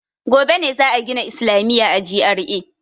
Gobe ne za a gina islamiya a GRA.